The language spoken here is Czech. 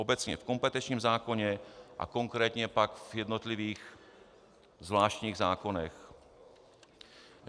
Obecně v kompetenčním zákoně a konkrétně pak v jednotlivých zvláštních zákonech.